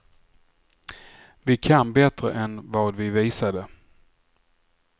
Vi kan bättre än vad vi visade.